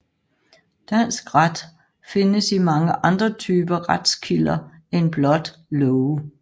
Dansk ret findes i mange andre typer retskilder end blot love